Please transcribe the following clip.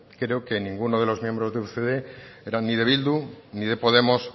creo que ninguno de los miembros de ucd eran ni de bildu ni de podemos